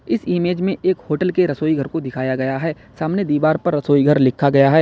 इस इमेज़ में एक होटल के एक रसोईघर को दिखाया गया है सामने दीवार पर रसोई घर लिखा गया है।